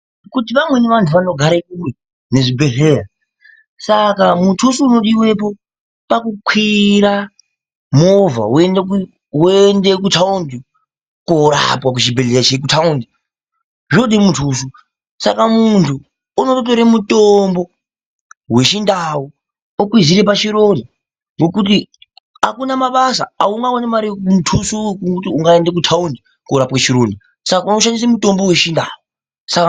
Kuti vamweni vantu vanogare kure nezvibhedhlera saka mutuso unodiwapo pakukwira movha woende kuthaundi koorapwa kuchibhedhlera cheku thaundi zvinode muthuso. Saka muntu unotore mutombo wechiNdau okwizira pachironda ngekuti akuna mabasa, aungaoni mare muthuso wekuti unokwira kuende kuthaundi koorapwe chironda saka unoshandisa mutombo wechiNdau, saka...